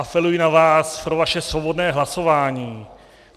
Apeluji na vás, na vaše svobodné hlasování.